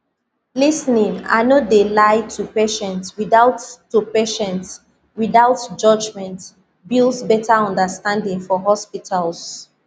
lis ten ing i no de lie to patients without to patients without judgment builds betta understanding for hospitals